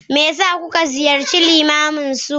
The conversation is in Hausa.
me yasa kuka ziyarci limamin su?